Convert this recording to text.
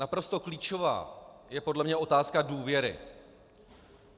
Naprosto klíčová je podle mě otázka důvěry.